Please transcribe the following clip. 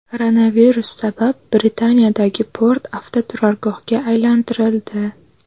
Koronavirus sabab Britaniyadagi port avtoturargohga aylantirildi.